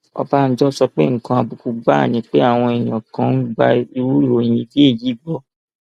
ọbànjọ sọ pé nǹkan àbùkù gbáà ni pé àwọn èèyàn kan ń gba irú ìròyìn bíi èyí gbọ